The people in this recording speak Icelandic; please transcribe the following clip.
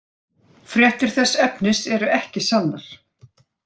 Fréttir þess efnis eru ekki sannar.